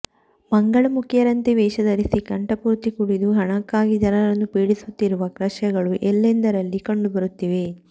ಮಂಗಳ ಮುಖಿಯರಂತೆ ವೇಷಧರಿಸಿ ಕಂಠ ಪೂರ್ತಿ ಕುಡಿದು ಹಣಕ್ಕಾಗಿ ಜನರನ್ನು ಪೀಡಿಸುತ್ತಿರುವ ದೃಶ್ಯಗಳು ಎಲ್ಲೆಂದರಲ್ಲಿ ಕಂಡುಬರುತ್ತಿವೆ